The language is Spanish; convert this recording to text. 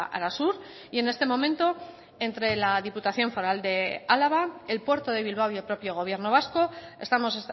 arasur y en este momento entre la diputación foral de álava el puerto de bilbao y el propio gobierno vasco estamos